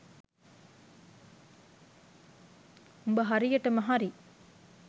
උඹ හරියටම හරි